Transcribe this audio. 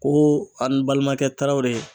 Ko ani balimakɛ Tarawele